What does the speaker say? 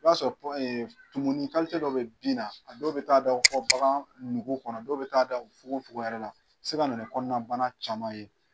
I b'a sɔrɔ tumunin dɔ bɛ bin na a dɔw bɛ taa da fɔ bagan nugu kɔnɔ dɔw bɛ taa da fogofogo yɛrɛ la a bɛ se ka na ni kɔnɔnabana caman ye.